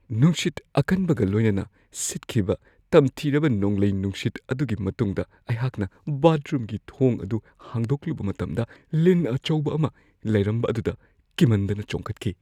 ꯅꯨꯡꯁꯤꯠ ꯑꯀꯟꯕꯒ ꯂꯣꯏꯅꯅ ꯁꯤꯠꯈꯤꯕ ꯇꯝꯊꯤꯔꯕ ꯅꯣꯡꯂꯩ ꯅꯨꯡꯁꯤꯠ ꯑꯗꯨꯒꯤ ꯃꯇꯨꯡꯗ, ꯑꯩꯍꯥꯛꯅ ꯕꯥꯊꯔꯨꯝꯒꯤ ꯊꯣꯡ ꯑꯗꯨ ꯍꯥꯡꯗꯣꯛꯂꯨꯕ ꯃꯇꯝꯗ ꯂꯤꯟ ꯑꯆꯧꯕ ꯑꯃ ꯂꯩꯔꯝꯕ ꯑꯗꯨꯗ ꯀꯤꯃꯟꯗꯅ ꯆꯣꯡꯈꯠꯈꯤ ꯫